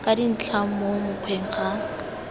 ka dintlha mo mokgweng ga